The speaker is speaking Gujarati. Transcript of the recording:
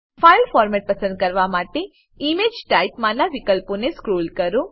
ફાઈલ ફોર્મેટ પસંદ કરવા માટે ઇમેજ ટાઇપ માંનાં વિકલ્પોને સ્ક્રોલ કરો